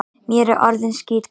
Mér er orðið skítkalt.